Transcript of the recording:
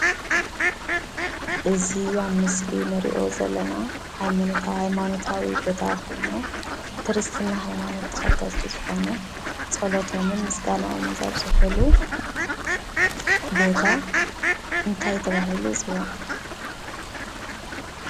እዚ ኣብ ምስሊ እንሪኦ ዘለና ሃይማኖታዊ ቦታ ኮይኑ ክርስትና ሃይማኖት ተኸተልቲ ዝኾኑ ፀሎቶምን ምስጋንኦምን ዘብፅሕሉ ቦታ እንታይ ተባሂሉ ይፅዋዕ?